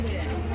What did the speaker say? Sağ əyləş.